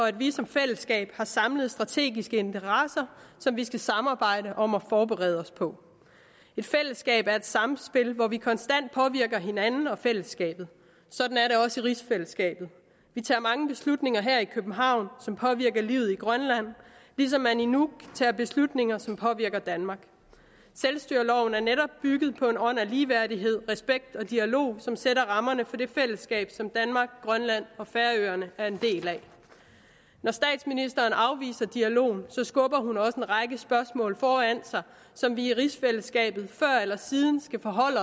at vi som fællesskab har samlede strategiske interesser som vi skal samarbejde om at forberede os på et fællesskab er et samspil hvor vi konstant påvirker hinanden og fællesskabet sådan er det også i rigsfællesskabet vi tager mange beslutninger her i københavn som påvirker livet i grønland ligesom man i nuuk tager beslutninger som påvirker danmark selvstyreloven er netop bygget på en ånd af ligeværdighed respekt og dialog som sætter rammerne for det fællesskab som danmark grønland og færøerne er en del af når statsministeren afviser dialogen skubber hun også en række spørgsmål foran sig som vi i rigsfællesskabet før eller siden skal forholde